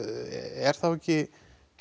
er þá ekki